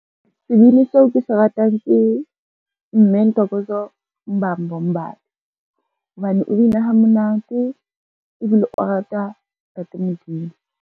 Sebini seo ke se ratang ke mme Ntokozo Mbambo hobane o bina ha monate ebile o rata ntate Modimo.